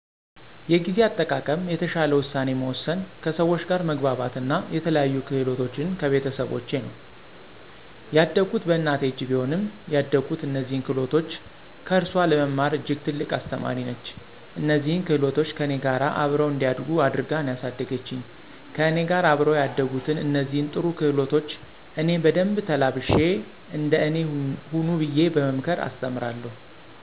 የጊዜ አጠቃቀም፣ የተሻለ ውሳኔ መወሰን፣ ከሰው ጋር መግባባት አና የተለያዩ ክህሎቶችን ከቤተሰቦቸ ነው። ያደኩት በእናቴ እጅ ቢሆንም ያደኩት እነዚህን ክህሎቶች ከእርሱአ ለመማር እጅግ ትልቅ አስተማሪ ነች። እነዚህን ክህሎቶች ከእኔ ጋር አብረው እንዲያድጉ አድርጋ ነው ያሳደገችኝ። ከእኔ ጋር አብረው ያደጉትን እነዚህን ጥሩ ክህሎቶች እኔ በደንብ ተላብሼ እንደ እኔ ሁኑ ብየ በመምከር አስተምራለሁ።